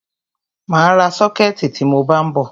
Mà á ra sọ́kẹ̀tì tí mọ bá ń bọ̀.